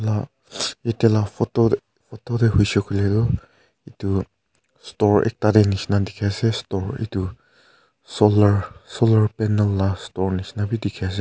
aa etia lah photo photo teh hoise koile tu etu store ekta teh nisna dikhi ase store etu solar solar panel lah store nisna bi dikhi ase.